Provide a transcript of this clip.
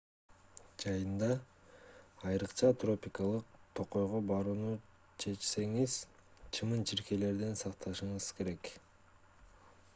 жайында айрыкча тропикалык токойго барууну чечсеңиз чымын-чиркейлерден сактанышыңыз керек